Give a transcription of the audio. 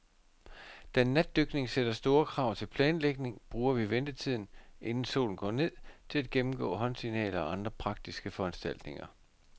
Da natdykning sætter store krav til planlægning, bruger vi ventetiden, inden solen går ned, til at gennemgå håndsignaler og andre praktiske foranstaltninger.